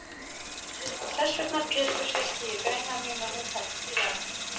Og þessvegna Pétur hristi ég greinar mínar og hún fellur til jarðar.